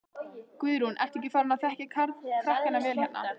Guðrún: Ertu ekki farin að þekkja krakkana vel hérna?